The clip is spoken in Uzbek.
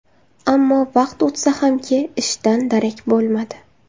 Ammo vaqt o‘tsa hamki, ishdan darak bo‘lmadi.